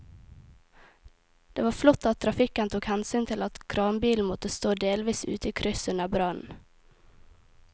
Det var flott at trafikken tok hensyn til at kranbilen måtte stå delvis ute i krysset under brannen.